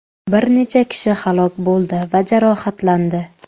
Bir necha kishi halok bo‘ldi va jarohatlandi.